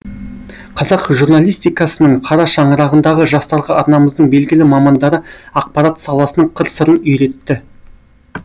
қазақ журналистикасының қара шаңырағындағы жастарға арнамыздың белгілі мамандары ақпарат саласының қыр сырын үйретті